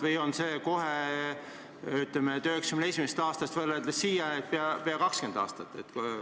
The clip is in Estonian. Või on see "kohe", ütleme, 1991. aastast siiani, peaaegu 20 aastat?